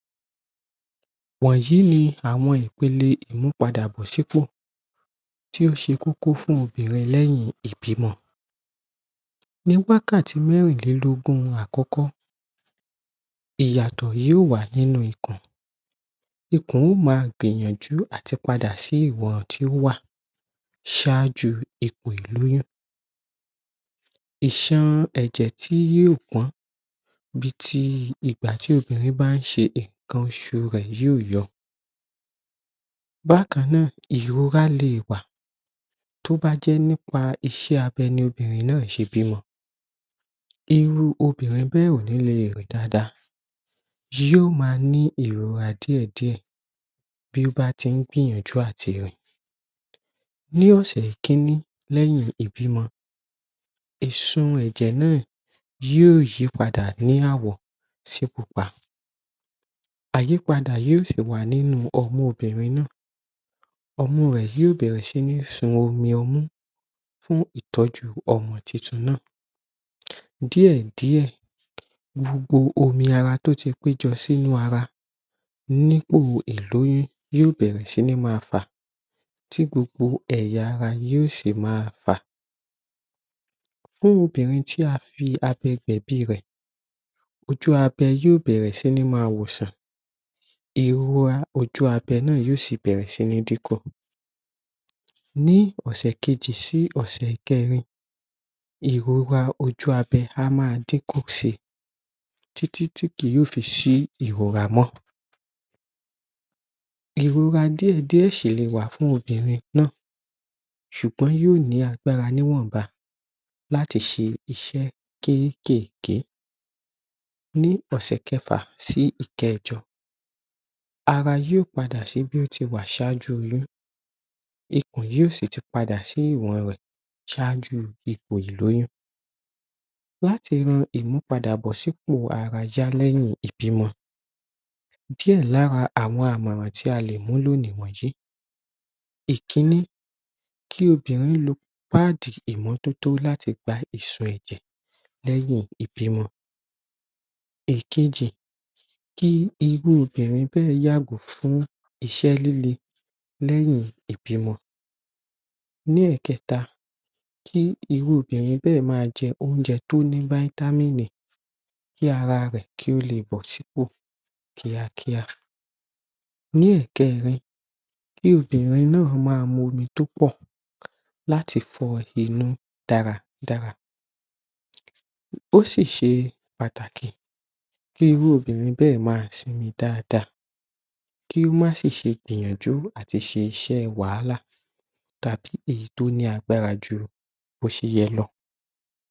Wọ̀nyìí ni àwọn ìpéle ìmúpadàbọ̀ sí pò tí ó ṣe kókó fún obìnrin lẹ́yìn ìbímọ ní wákàtí mẹ́rìndínlógún àkọ́kọ́ ìyàtọ̀ yóò wà nínú ikùn ikùn yóò ma gbìyànjú àti padà sí ìwọn tí ó wà ṣáájú ipò ìlòyún ìsun ẹ̀jẹ̀ tí yóò pọ̀n-ọ́n bí ti ìgbà tí obìnrin báà ń ṣe ìkan oṣù rẹ̀ yóò yọ Bákan náà, ìróra le wà tí ó bá jẹ́ nípa iṣẹ́ abẹ ni obìnrin náà ṣe bímọ irú obìnrin náà ò ní lè rìn dada yóò máa ní ìróra díẹ̀diẹ̀ tí ó bá ń tí ń gbìyànjú láti rìn Ní ọ̀sẹ̀ Kínní lẹ́yìn ìbímọ ìsun ẹ̀jẹ̀ náà yóò yí padà ní àwọ̀ sí Pupa àyípadà yóò sì wà nínú ọmú obìnrin náà Ọmú rẹ yóò bẹ̀ẹ̀rẹ̀ sí ń sun omi ọmú fún ìtọ́jú ọmọ tuntun náà díè díè ni gbogbo omi ara tí ó ti pé jọ sínú ara nípò ìlóyún yóò bẹ̀ẹ̀rẹ̀ sí ní ma fà tí gbogbo ẹ̀yà-ara yóò sì ma fà fún obìnrin tí a fi abẹ gbẹ̀bí rẹ̀ ojú abẹ́ yóò bẹ̀ẹ̀rẹ̀ sí ní ma wòòsàn ìho ojú abẹ́ yóò bẹ̀ẹ̀rẹ̀ sí ní díkọ̀ Ní ọ̀sẹ̀ kejì sí ọ̀sẹ̀ kẹrin ìróra ojú abẹ́ á ma díkùn si títí títí kí yóò fi sí ìróra mọ́ Ìróra díè díè sí lè wà fún obìnrin náà ṣùgbọ́n yóò ní agbára ní wọ̀nba láti ṣe iṣẹ́ kékèké. Ní ọ̀sẹ̀ kẹfà sí kẹjọ ara yóò padà sí bí ó ṣe wà ṣáájú oyún ikùn yóò sì ti padà sí ìwọ̀n rẹ̀ sáájú ipò ìlóyún Láti mú ìmúpadàbọ̀ sì ipò ara yá lẹ́yìn ìbímọ díè lára àwọn àmọ̀ràn tí a lè múlò ni wọ̀nyìí Ìkínnì kí obìnrin lo páàdì ìmọ́ tótó láti pa ìsò ẹ̀jẹ̀ lẹ́yìn ìbímọ ìkejì kí irú obìnrin bẹ́ẹ̀ yàgò fún iṣẹ́ líle lẹ́yìn ìbímọ lékẹ̀ta kí irú obìnrin bẹ́ẹ̀ ma jẹ oúnjẹ tí ó ní vitamini, kí ara kó lè bọ́ sí ipò kíá kíá. Lẹ́kẹ̀ẹrin kí obìnrin náà ma mú omi tó pọ̀ láti fọ inú dára dára, ó sì ṣe pàtàkì kí irú obìnrin náà ma sinmi dáàda kí ó sì má gbìyànjú láti ṣíṣe wàhálà tàbí èyí tí ó bá ní agbára jù bí ó ṣe yẹ lọ